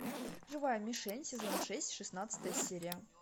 живая мишень сезон шесть шестнадцатая серия